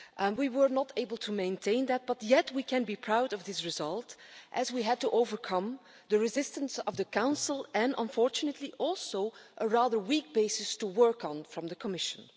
We were not able to maintain that, but we can be proud of this result as we had to overcome the resistance of the Council and, unfortunately, also a rather weak basis to work on from the Commission.